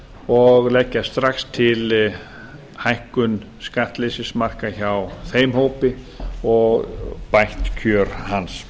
og leggja strax til hækkun skattleysismarka hjá þeim hópi og bætt kjör hans